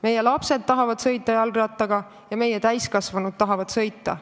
Meie lapsed tahavad jalgrattaga sõita ja meie täiskasvanud tahavad sellega sõita.